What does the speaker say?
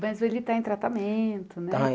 Mas ele está em tratamento, né? Está